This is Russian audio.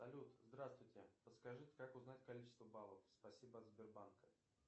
салют здравствуйте подскажите как узнать количество баллов спасибо от сбербанка